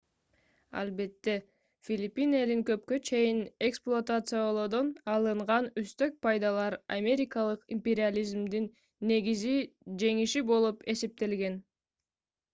албетте филиппин элин көпкө чейин эксплуатациялоодон алынган үстөк пайдалар америкалык империализмдин негизги жеңиши болуп эсептелген